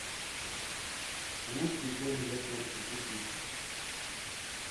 лучший корм для кошки купить